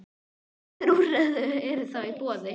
En hvaða úrræði eru þá í boði?